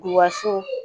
Buwaso